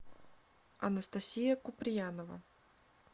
анастасия куприянова